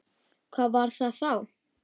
Hvað var það þá?